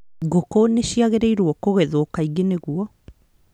Ngũkũ nĩ ciagĩrĩirũo kũgethwo kaingĩ nĩguo